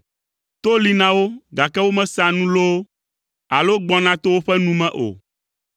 to li na wo, gake womesea nu loo, alo gbɔna to woƒe nu me o.